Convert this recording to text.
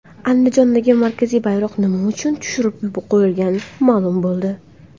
Andijondagi markaziy bayroq nima uchun tushirib qo‘yilgani ma’lum bo‘ldi .